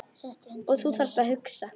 Og þú þarft að hugsa.